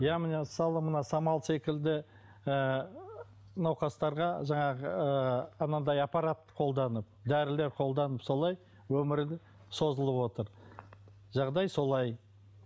иә міне мысалы мына самал секілді ыыы науқастарға жаңағы ыыы анандай аппарат қолданып дәрілер қолданып солай өмірін созылып отыр жағдай солай